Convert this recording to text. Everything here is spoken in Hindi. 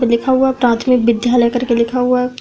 लिखा हुआ है ट्रैन्स्लैट विद्यालय करके लिखा हुआ है।